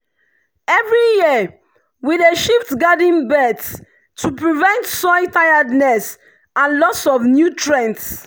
every year we dey shift garden beds to prevent soil tiredness and loss of nutrients.